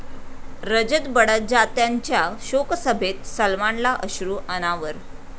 रजत बडजात्यांच्या शोकसभेत सलमानला अश्रू अनावर